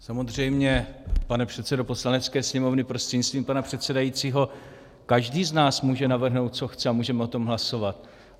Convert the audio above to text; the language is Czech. Samozřejmě, pane předsedo Poslanecké sněmovny prostřednictvím pana předsedajícího, každý z nás může navrhnout, co chce, a můžeme o tom hlasovat.